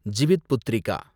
Jivitputrika